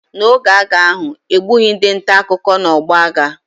N’oge agha ahụ, e gbughị ndị nta akụkọ n’ọgbọ agha.